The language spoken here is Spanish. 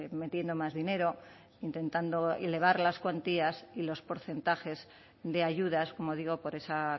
metiendo más dinero intentando elevar las cuantías y los porcentajes de ayudas como digo por esa